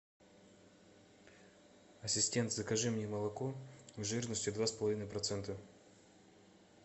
ассистент закажи мне молоко жирностью два с половиной процента